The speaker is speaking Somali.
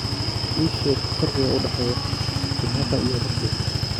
ii sheeg farqiga u dhexeeya kenyatta iyo ruto